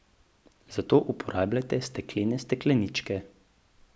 Zato uporabljajte steklene stekleničke.